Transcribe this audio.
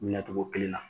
Minɛ cogo kelen na